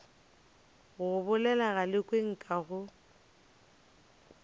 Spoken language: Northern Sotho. go bolela galekwe nka go